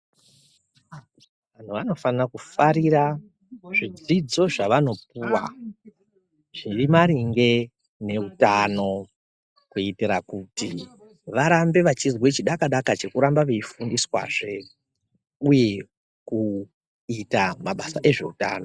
Vanofana kufarira zvidzidzo zvavanopuwa zviri maringe neutano kuitira kuti varambe veyizwa chidaka daka chekurambe veyifundiswa zvee uye kuita mabasa ezveutano.